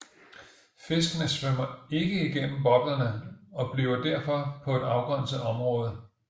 Fiskene svømmer ikke igennem boblerne og bliver derfor på et afgrænset område